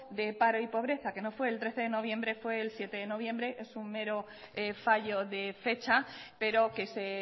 de paro y pobreza que no fue el trece de noviembre fue el siete de noviembre es un mero fallo de fecha pero que se